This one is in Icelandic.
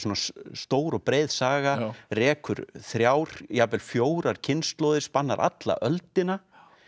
stór og breið saga rekur þrjár jafnvel fjórar kynslóðir spannar alla öldina